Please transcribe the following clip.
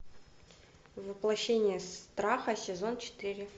воплощение страха сезон четыре